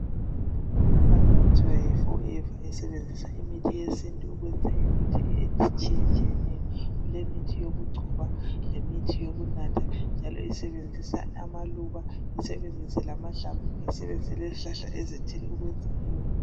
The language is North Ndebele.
Icompany okuthiwa yiForever, isebenzisa imithi yesintu, ukwenza imithi etshiyetshiyeneyo. Kulemithi yokugcoba, lemithi yokunatha. Njalo isebenzisa amaluba, isebebenzise llamahlamvu. Isebenzise lezihlahla, ezithile ukwenza keyomithi.